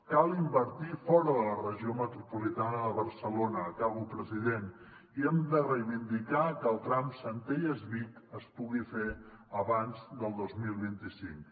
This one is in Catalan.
cal invertir fora de la regió metropolitana de barcelona acabo president i hem de reivindicar que el tram centelles vic es pugui fer abans del dos mil vint cinc